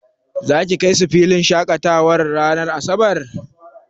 Za ki kai su filin shaƙatawa ranar asabar?